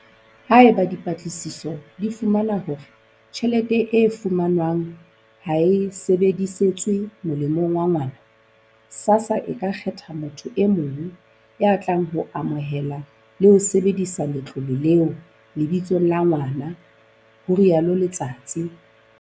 "Haeba dipatlisiso di fumana hore tjhelete e fumanwang ha e sebedisetswe molemong wa ngwana, SASSA e ka kgetha motho e mong ya tlang ho amohela le ho sebedisa letlole leo lebitsong la ngwana," ho rialo Letsatsi.